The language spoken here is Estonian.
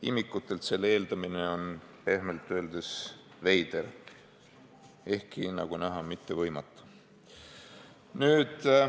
Imikutelt selle eeldamine on pehmelt öeldes veider, ehkki, nagu näha, mitte võimatu.